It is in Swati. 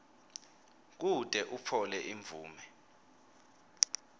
kute utfole imvume